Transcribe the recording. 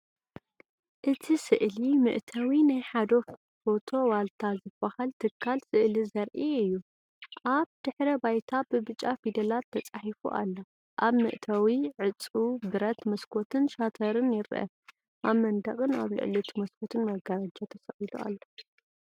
እቲ ስእሊ መእተዊ ናይ ሓደ “ፎቶ ዋልታ” ዝበሃል ትካል ስእሊ ዘርኢ እዩ። ኣብ ድሕረ ባይታ ብብጫ ፊደላት ተጻሒፉ ኣሎ። ኣብ መእተዊ ዕጹው ብረት መስኮትን ሻተርን ይርአ። ኣብ መንደቕን ኣብ ልዕሊ እቲ መስኮትን መጋረጃ ተሰቒሉ ኣሎ።